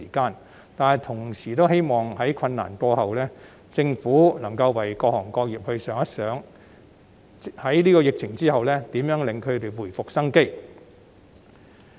然而，我同時希望在困難過後，政府能夠為各行各業設想如何在疫情後令他們回復生機。